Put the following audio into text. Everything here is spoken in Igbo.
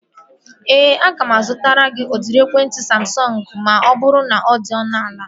Ee, aga m azụtara gị udiri ekwentị Samsọngu ma ọ bụrụ na ọ dị ọnụ ala